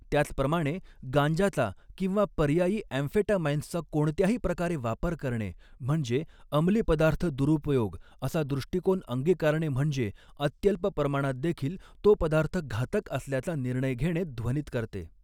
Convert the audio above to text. त्याचप्रमाणे, गांजाचा किंवा पर्यायी ॲम्फेटामाइन्सचा कोणत्याही प्रकारे वापर करणे म्हणजे अमली पदार्थ दुरुपयोग असा दृष्टिकोन अंगिकारणे म्हणजे, अत्यल्प प्रमाणात देखील तो पदार्थ घातक असल्याचा निर्णय घेणे ध्वनित करते.